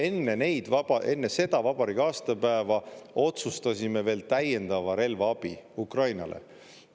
Me enne seda vabariigi aastapäeva otsustasime veel täiendava relvaabi Ukrainale.